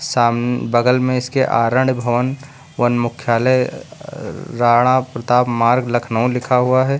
साम बगल में इसके आरण भवन वन मुख्यालय र राणा प्रताप मार्ग लखनऊ लिखा हुआ है।